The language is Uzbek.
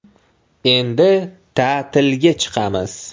Endi ta’tilga chiqamiz.